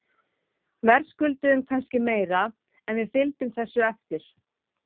Verðskulduðum kannski meira en við fylgjum þessu eftir.